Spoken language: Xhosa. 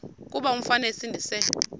kuba umfana esindise